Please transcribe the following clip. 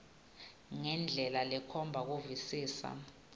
ngendlela lekhomba kuvisisa